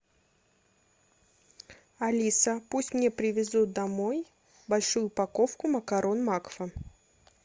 алиса пусть мне привезут домой большую упаковку макарон макфа